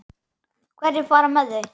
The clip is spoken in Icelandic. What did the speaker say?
Hverjir fara með þau?